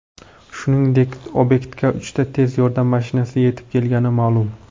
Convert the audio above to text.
Shuningdek, obyektga uchta tez yordam mashinasi yetib kelgani ma’lum.